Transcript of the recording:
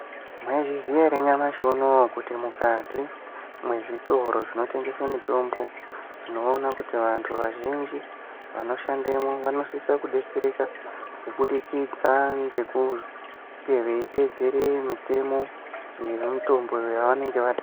Mwaizviziya ere nyamashi unowu kuti mukati mwezvitoro zvinotengese mitombo , tinoona kuti vantu vazhinji vanoendemwo, vanosisa kudetsereka, kubudikidza ngekunge veiteedzere mitemo yomitombo yevanenge va...